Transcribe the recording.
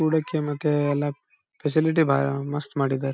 ಕೂಡಕ್ಕೆ ಮತ್ತೆ ಎಲ್ಲ ಫೆಸಿಲಿಟಿ ಬಾಳ ಮಸ್ತ್ ಮಾಡಿದ್ದಾರೆ.